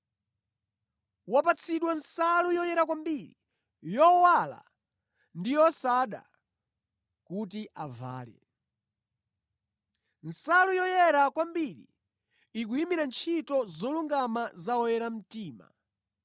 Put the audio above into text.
Wapatsidwa nsalu yoyera kwambiri, yowala ndi yosada kuti avale.” (Nsalu yoyera kwambiri ikuyimira ntchito zolungama za oyera mtima).